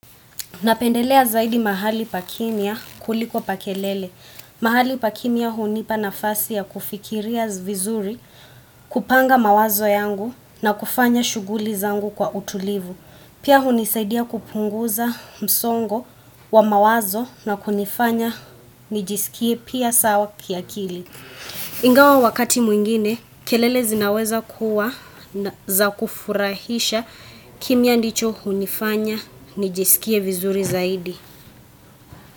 Napendelea zaidi mahali pa kimya kuliko pa kelele. Mahali pa kimiyaa hunipa nafasi ya kufikiria vizuri, kupanga mawazo yangu na kufanya shughuli zangu kwa utulivu. Pia hunisaidia kupunguza msongo wa mawazo na kunifanya nijisikie pia sawa kiakili. Ingawa wakati mwingine, kelele zinaweza kuwa za kufurahisha kimya ndicho hunifanya nijisikie vizuri zaidi.